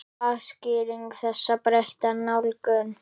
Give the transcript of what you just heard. Hvað skýrir þessa breytta nálgun?